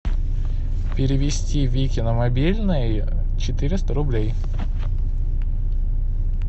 перевести вике на мобильный четыреста рублей